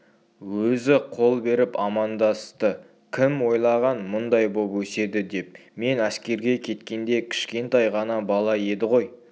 өзі қол беріп амандасты кім ойлаған мұндай боп өседі деп мен әскерге кеткенде кішкентай ғана бала еді ғой